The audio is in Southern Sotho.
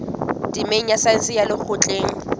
temeng ya saense ya lekgotleng